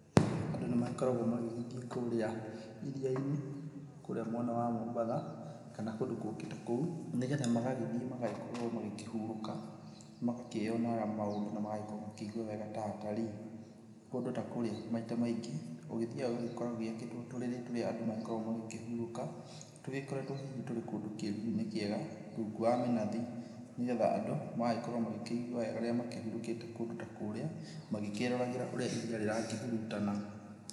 Andũ nĩmagĩkoragwo magĩthiĩ kurĩa iria-inĩ kũrĩa mwena wa Mombatha kana kũndũ kũngĩ ta kũu, nĩgetha magagĩthiĩ magagĩkorwo makĩhurũka, magakĩonera maũndũ na magakorwo makĩigua wega ta atarii. Kũndũ ta kũríĩ maita maingĩ ũgĩthiaga ũgakora gwakĩtwo tũrĩrĩ tũrĩa andũ magĩkoragwo magĩkĩhurũka tũgĩkoretwo hihi tũrĩ kũndũ kĩruru-inĩ kĩega rungu wa mĩnathi nĩgetha andũ magagĩkorwo magĩkĩigua wega rĩrĩa makĩhurũkĩte kũndũ ta kũrĩa, magĩkĩĩroragĩra ũrĩa iria rĩrakĩhurutana.